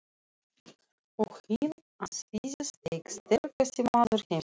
Og inn á sviðið steig sterkasti maður heimsins.